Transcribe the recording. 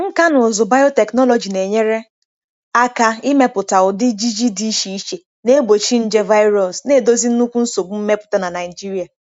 Nkà na ụzụ biotechnology na-enyere aka ịmepụta ụdị ji ji dị iche iche na-egbochi nje virus, na-edozi nnukwu nsogbu mmepụta na Nigeria.